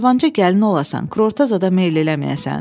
Cavanca gəlin olasan, kurorta zada meyl eləməyəsən.